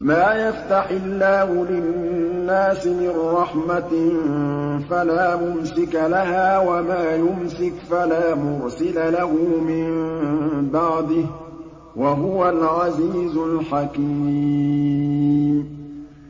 مَّا يَفْتَحِ اللَّهُ لِلنَّاسِ مِن رَّحْمَةٍ فَلَا مُمْسِكَ لَهَا ۖ وَمَا يُمْسِكْ فَلَا مُرْسِلَ لَهُ مِن بَعْدِهِ ۚ وَهُوَ الْعَزِيزُ الْحَكِيمُ